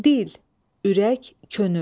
Dil, ürək, könül.